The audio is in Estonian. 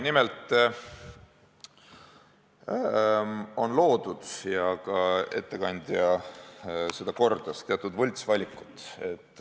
Nimelt on loodud – ja ka ettekandja kordas seda – teatud võltsvalikud.